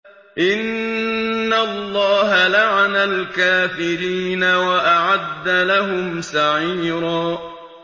إِنَّ اللَّهَ لَعَنَ الْكَافِرِينَ وَأَعَدَّ لَهُمْ سَعِيرًا